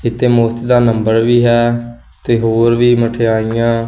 ਇੱਥੇ ਮੁਫਤ ਦਾ ਨੰਬਰ ਵੀ ਹੈ ਤੇ ਹੋਰ ਵੀ ਮਠਿਆਈਆਂ।